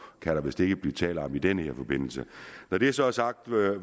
kan der vist ikke blive tale om i den her forbindelse når det så er sagt vil